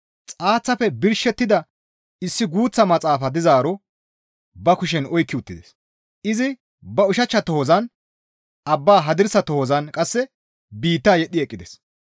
Xaaththafe birshettida issi guuththa maxaafa dizaaro ba kushen oykki uttides; izi ba ushachcha tohozan abbaa hadirsa tohozan qasse biitta yedhdhi eqqides.